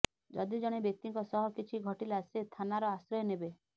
ଯଦି ଜଣେ ବ୍ୟକ୍ତିଙ୍କ ସହ କିଛି ଘଟିଲା ସେ ଥାନାର ଆଶ୍ରୟ ନେବେ